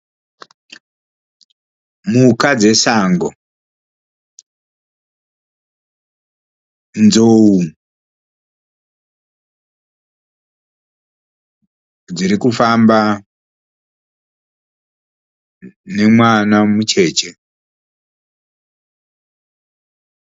Mhuka dzesango. Nzou dziri kufamba nemwana mucheche.